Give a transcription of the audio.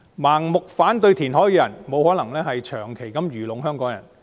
盲目反對填海的人，不可能長期愚弄香港人。